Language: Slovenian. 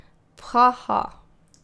Pha, ha!